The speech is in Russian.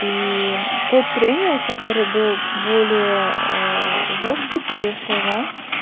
и тот тренер который был более жёсткий по её словам